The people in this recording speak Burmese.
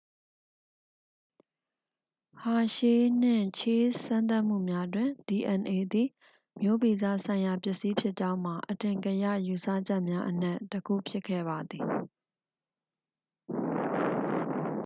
ဟာရှေး နှင့် ချေ့စ် စမ်းသပ်မှုများတွင် dna သည် မျိုးဗီဇဆိုင်ရာပစ္စည်းဖြစ်ကြောင်းမှာ အထင်ကရယူဆချက်များအနက် တစ်ခုဖြစ်ခဲ့ပါသည်